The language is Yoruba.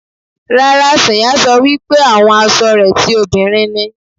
Rárá, Sànyà sọ wípé àwọn asọ rẹ ti òbinrín ni.